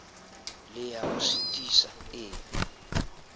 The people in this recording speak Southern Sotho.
le ya mo sitisang e